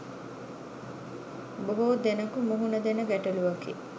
බොහෝ දෙනකු මුහුණ දෙන ගැටලුවකි.